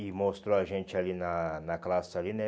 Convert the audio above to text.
E mostrou a gente ali na na classe ali, né?